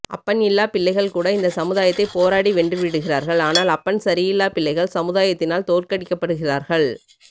அப்பன் இல்லா பிள்ளைகள் கூட இந்த சமுதாயத்தை போராடி வென்றுவிடுகிறார்கள் ஆனால் அப்பன் சரியில்லா பிள்ளைகள் சமுதாயத்தினால் தோற்கடிக்கபடுகிறார்கள்